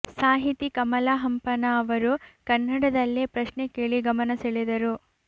ಸಾಹಿತಿ ಕಮಲಾ ಹಂಪನಾ ಅವರು ಕನ್ನಡದಲ್ಲೇ ಪ್ರಶ್ನೆ ಕೇಳಿ ಗಮನ ಸೆಳೆದರು